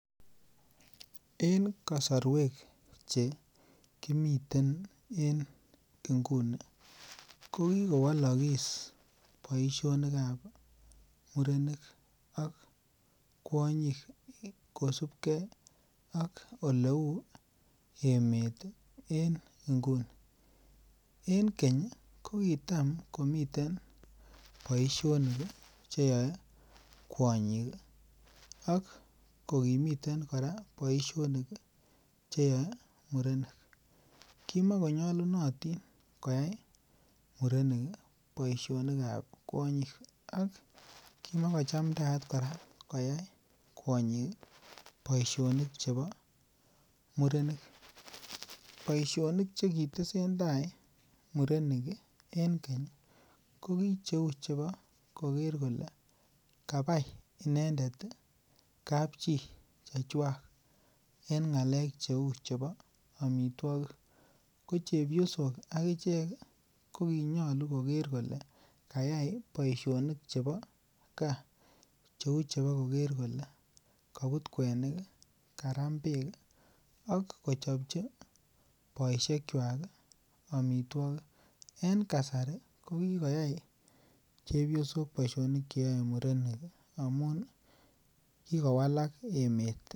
En kasarwek chekimiten inguni kokikowalakis boisionikab murenik ak kwonyik, kosubke ak oleuu emeet en inguni , en keny ih kokitam komiten boisionik ih cheyoe kwanyik ih ak kokimiten kora boisionik cheyao murenik. Kimoko nyalunatin koyai murenik ih boisionikab kuonyik ak komokochamtayat kora koyai kwonyik nboisionikab murenik. Boisionik chekitesentai murenik en keny ih ko ki cheuu chebo koker kole kabai inendet ih kapchi chechuak , en ng'alek cheuu chebo amituakik. Ko cheyosok akichek kokinyolu koker kole kayai boisionikab ka kou chebo kobut kuenik ih , Karam bek ih ak kochobchi boisiekauk amituokik. En kasari kokikoyai chebyosok boisionik cheyao murenik. Amuun Kiko walak emeet